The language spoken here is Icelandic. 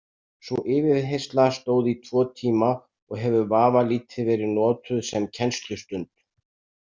Sú yfirheyrsla stóð í tvo tíma og hefur vafalítið verið notuð sem kennslustund.